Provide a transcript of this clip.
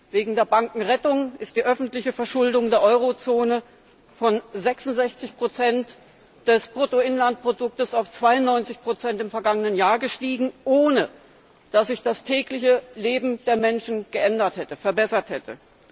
Wegen der Bankenrettung ist die öffentliche Verschuldung der Euro Zone von 66 des Bruttoinlandproduktes auf 92 im vergangenen Jahr gestiegen, ohne dass sich das tägliche Leben der Menschen verbessert hätte.